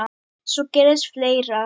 Svo gerðist fleira.